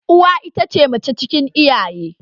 Uwa ita ce mace cikin iyaye